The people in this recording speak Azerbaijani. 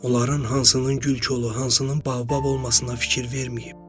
Onların hansının gül kolu, hansının baobab olmasına fikir verməyib.